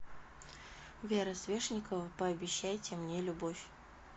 вера свешникова пообещайте мне любовь